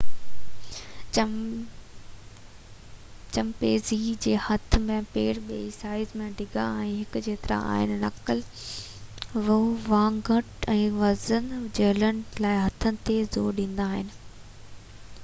chimpanzee جا هٿ ۽ پير ٻئي سائيز ۽ ڊيگهہ ۾ هڪ جيترا آهن نڪل واڪنگ ۾ وزن جهلڻ لاءِ هٿن تي زور ڏيندا آهن